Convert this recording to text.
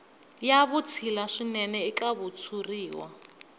ya vutshila swinene eka xitshuriwa